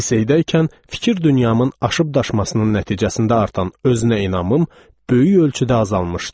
Liseydəykən fikir dünyamın aşıb-daşmasının nəticəsində artan özünə inamım böyük ölçüdə azalmışdı.